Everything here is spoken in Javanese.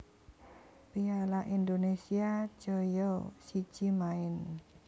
piala Indonesia joyo siji maen